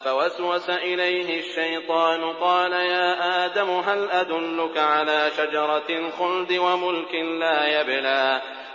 فَوَسْوَسَ إِلَيْهِ الشَّيْطَانُ قَالَ يَا آدَمُ هَلْ أَدُلُّكَ عَلَىٰ شَجَرَةِ الْخُلْدِ وَمُلْكٍ لَّا يَبْلَىٰ